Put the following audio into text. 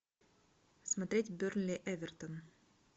смотреть бернли эвертон